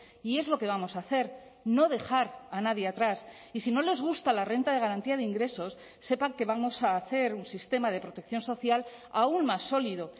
y es lo que vamos a hacer no dejar a nadie atrás y si no les gusta la renta de garantía de ingresos sepan que vamos a hacer un sistema de protección social aún más sólido